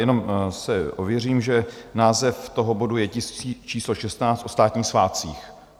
Jenom si ověřím, že název toho bodu je Tisk číslo 16, o státních svátcích.